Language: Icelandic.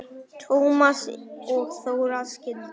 Tómas og Þóra skildu.